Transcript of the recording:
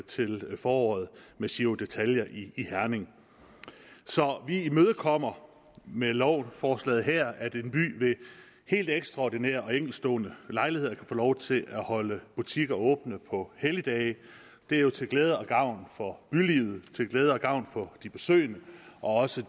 til foråret med giro ditalia i herning så vi imødekommer med lovforslaget her at en by ved helt ekstraordinære og enkeltstående lejligheder kan få lov til at holde butikker åbne på helligdage det er jo til glæde og gavn for bylivet til glæde og gavn for de besøgende og også